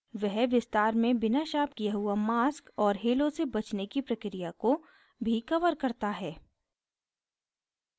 वह विस्तार में बिना शार्प किया हुआ mask और halos से बचने की प्रक्रिया को भी covers करता है